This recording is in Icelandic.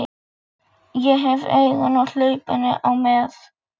steinn, í síðfrakka og með loðhúfu.